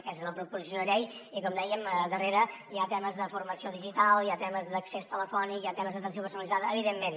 aquesta és la proposició de llei i com dèiem darrere hi ha temes de forma·ció digital hi ha temes d’accés telefònic hi ha temes d’atenció personalitzada evi·dentment